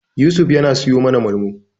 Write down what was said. Yusuf yana siyo mana Malmo.